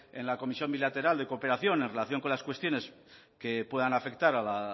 en la comisión bilateral de cooperación en relación con las cuestiones que puedan afectar a la